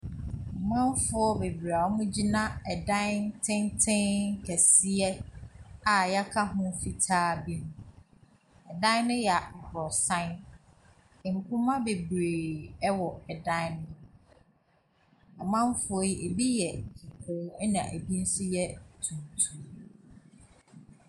Amanfoɔ bebree a wɔgyina dan tenten kɛseɛ a wɔaka ho fitaa bi ho. Dan no yɛ aborosan. Mpoma bebree wɔ dan no ho. Amanfoɔ yi, ebi yɛ kɔkɔɔ, ɛnna ebi nso yɛ tuntum.